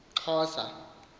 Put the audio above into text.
xhosa